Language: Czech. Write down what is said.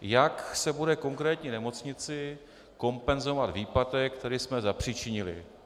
Jak se bude konkrétní nemocnici kompenzovat výpadek, který jsme zapříčinili?